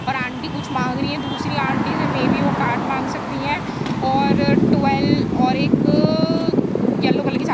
और आंटी कुछ मांग रही है दूसरी आंटी से मेयबी वो कार्ड मांग सकती हैं और और एक अ येल्लो कलर की साड़ी --